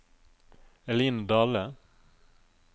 Eline Dahle